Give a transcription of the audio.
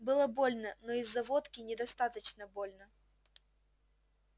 было больно но из-за водки недостаточно больно